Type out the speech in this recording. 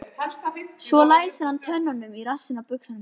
Svo læsir hann tönnunum í rassinn á buxunum hans.